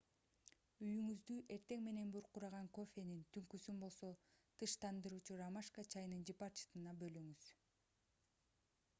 үйүңүздү эртең менен буркураган кофенин түнкүсүн болсо тынчтандыруучу ромашка чайынын жыпар жытына бөлөңүз